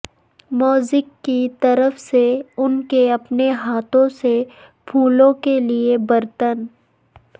موزیک کی طرف سے ان کے اپنے ہاتھوں سے پھولوں کے لئے برتن